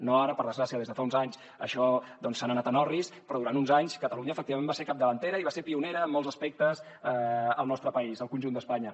no ara per desgràcia des de fa uns anys això se s’ha anat en orris però durant uns anys catalunya efectivament va ser capdavantera i va ser pionera en molts aspectes al nostre país al conjunt d’espanya